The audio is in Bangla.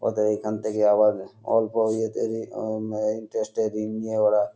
ওইতো এখান থেকে আবারো অল্প ইয়েতেরে অম ম্যা ইন্টারেসট -এ ঋণ নিয়ে ওরা।